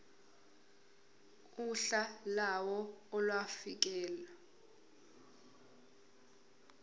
uhla lawo olufakelwe